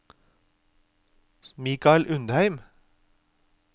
Mikal Undheim